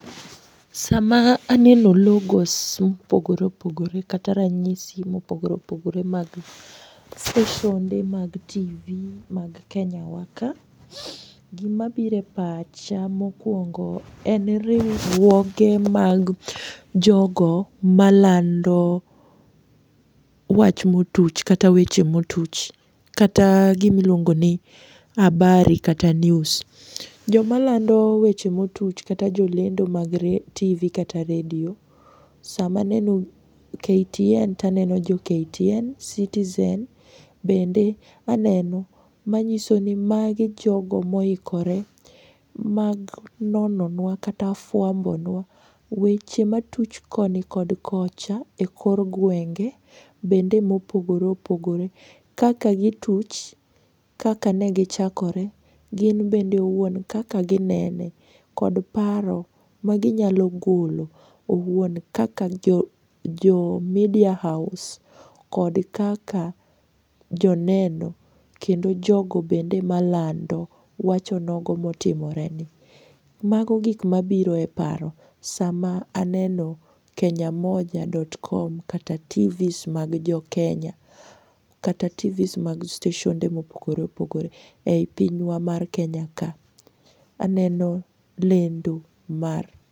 Sama aneno logos mopogore opogore kata ranyisi mopogore opogore mag steshonde mag TV mag Kenya wa ka. Gima bire pacha mokuongo en riuruoge mag jogo malando wach motuch kata weche motuch kata gimi luongoni habari kata news. Jomalando weche motuch kata jolendo mag TV kata redio samaneno KTN taneno jo KTN,Citizen bende aneno manyisoni magi jogo moikore mag nononwa kata fuambo nwa weche matuch koni kod kocha e kor guenge bende mopogore opogore kaka gituch, kaka negichakore, gin bende owuon kaka ginene kod paro ma ginyalo golo owuon kaka jo media house kod kaka joneno kendo jogo bendoe malando wacho nogo motimore negi. Mago gik mabiro e paro sama aneno KENYAMOJA.com kata TVs mag jokenya, kata TVs mag steshonde mopogore opogore ei pinywa mar Kenya ka. Aneno lendo mar.